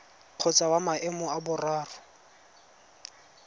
kgotsa wa maemo a boraro